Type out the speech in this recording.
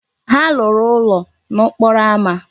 Ha lụrụ ụlọ n'okporo ámá.